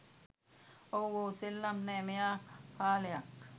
ඔව් ඔව් සෙල්ලම් නෑ මෙයා කාලයක්